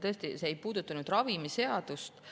Tõesti, see ei puudutanud ravimiseadust.